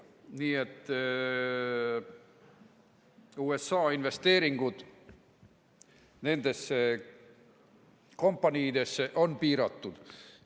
Nii et USA investeeringud nendesse kompaniidesse on piiratud.